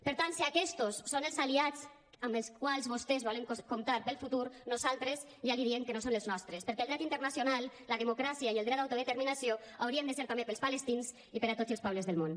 per tant si aquestos són els aliats amb els quals vostès volen comptar per al futur nosaltres ja els diem que no són els nostres perquè el dret internacional la democràcia i el dret d’autodeterminació haurien de ser també per als palestins i per a tots els pobles del món